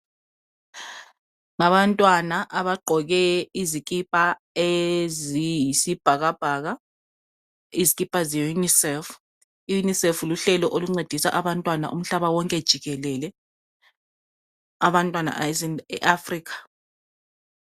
Ngabantwana abagqoke izikipa eziyisibhakabhaka, izikipa zeUNicef. IUnicef luhlelo oluncedisa abantwana umhlaba wonke jikelele, abantwana beAfrica.